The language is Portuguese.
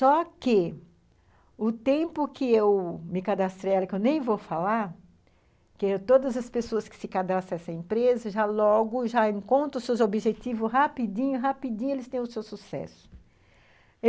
Só que o tempo que eu me cadastrei a ela, que eu nem vou falar, que todas as pessoas que se cadastram nessa empresa já logo já encontram seus objetivos rapidinho, rapidinho eles têm o seu sucesso.